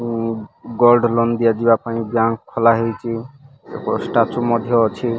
ଉଁ gold loan ଦିଆଯିବା ପାଇଁ ବ୍ୟାଙ୍କ ଖୋଲାହେଇଚି ହେଇଛି ଷ୍ଟାଚୁ ମଧ୍ୟ ଅଛି।